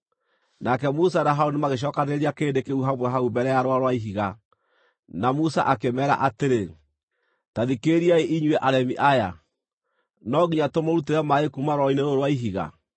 Nake Musa na Harũni magĩcokanĩrĩria kĩrĩndĩ kĩu hamwe hau mbere ya rwaro rwa ihiga, na Musa akĩmeera atĩrĩ, “Ta thikĩrĩriai, inyuĩ aremi aya, no nginya tũmũrutĩre maaĩ kuuma rwaro-inĩ rũrũ rwa ihiga?”